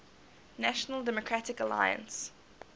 national democratic alliance